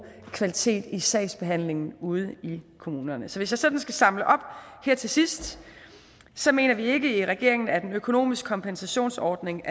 kvalitet i sagsbehandlingen ude i kommunerne så hvis jeg sådan skal samle op her til sidst så mener vi ikke i regeringen at en økonomisk kompensationsordning